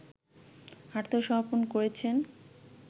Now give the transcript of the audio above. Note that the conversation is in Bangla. আত্মসমর্পণ করেছেন